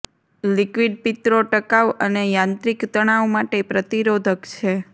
liquid પિત્તરો ટકાઉ અને યાંત્રિક તણાવ માટે પ્રતિરોધક છે